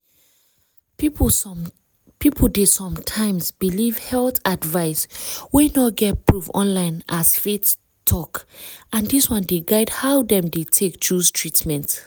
people dey sometimes believe health advice wey no get proof online as faith talk and dis one dey guide how dem dey take choose treatment.